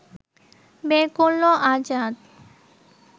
বের করল আজাদ